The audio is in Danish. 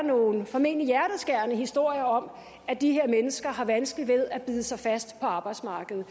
nogle formentlig hjerteskærende historier om at de her mennesker har vanskeligt ved at bide sig fast på arbejdsmarkedet